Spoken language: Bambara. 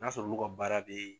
N y'a sɔrɔ' olu ka baara bɛ.